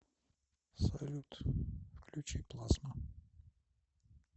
салют включи плазма